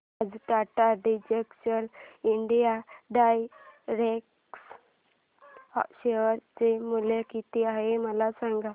आज Tata digital India direct share चे मूल्य किती आहे मला सांगा